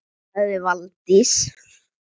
sagði Valdís